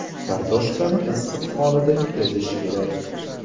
Kartoshkani issiq holida ezish kerak.